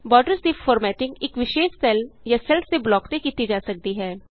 borders ਦੀ formatting ਇਕ ਵਿਸ਼ੇਸ਼ ਸੈੱਲ ਜਾਂ ਸੈੱਲ਼ਸ ਦੇ ਬਲੋਕ ਤੇ ਕੀਤੀ ਜਾ ਸਕਦੀ ਹੈ